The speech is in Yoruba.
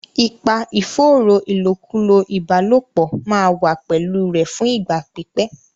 Ipa ìfòòró ìlòkulò ìbálòpọ̀ máa wà pẹ̀lú rẹ̀ fún ìgbà pípẹ́.